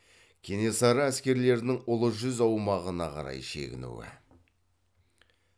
кенесары әскерлерінің ұлы жүз аумағына қарай шегінуі